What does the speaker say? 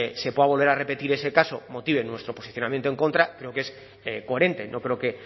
se pueda volver a repetir ese caso motive nuestro posicionamiento en contra creo que es coherente no creo que